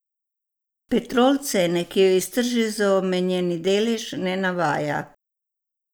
Petrol cene, ki jo je iztržil za omenjeni delež, ne navaja.